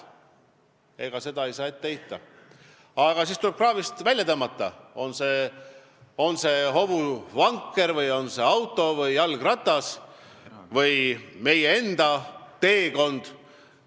Ega seda ei saa ette heita, aga siis tuleb see kraavist välja tõmmata, on see siis hobuvanker, auto või jalgratas või on see meie enda teekond.